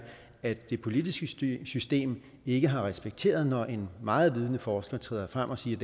at det politiske system ikke har respekteret når en meget vidende forsker træder frem og siger